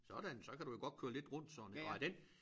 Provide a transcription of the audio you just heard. Sådan så kan du jo godt køre lidt rundt sådan og er den